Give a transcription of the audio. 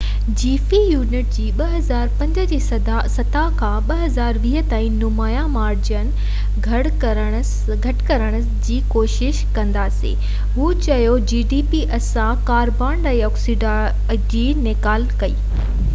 اسان carbon dioxide جي نيڪال کي gdp جي في يونٽ جي 2005 جي سطح کان 2020 تائين نمايان مارجن گهٽ ڪرڻ جي ڪوشش ڪنداسين هو چيو